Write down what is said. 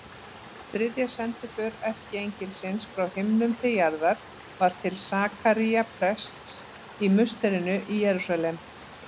Þriðja sendiför erkiengilsins frá himnum til jarðar var til Sakaría prests í musterinu í Jerúsalem.